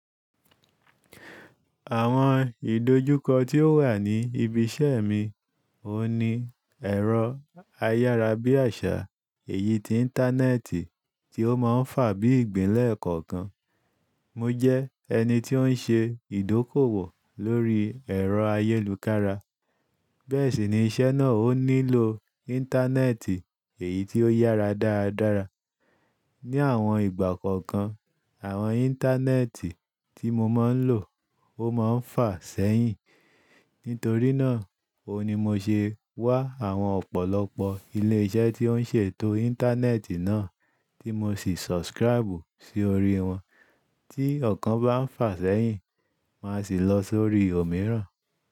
Àwọn ìdojúkọ tí ó wà ní ibi iṣẹ́ mi, òun ní ẹ̀rọ ayárabíàṣá èyí tí íńtánẹ́ẹ̀tì tí ó máa ń fà bí ìgbín lẹ́ẹ̀kọ̀kan. Mo jẹ́ ẹni tí ó ń ṣe ìdókòwò lórí ẹ̀rọ ayélujára, bẹ́ẹ̀ sì ni iṣẹ́ náà ò nílò íńtánẹ́ẹ̀tì èyí tí ó yára dáradára. Ni àwọn ìgbà kọ̀ọ̀kan, àwọn íńtánẹ́ẹ̀tì tí mo máa ń lò ó máa ń fà sẹ́yìn. Nítorí náà òun ni mo ṣe wá àwọn ọ̀pọ̀lọpọ̀ ilé iṣẹ́ tí ó ń ṣètò íńtánẹ́ẹ̀tì náà tí mo sì subscribe sí orí wọn. Tí ọ̀kan bá ń fà sẹ́yìn, máa sì lọ sórí òmíràn.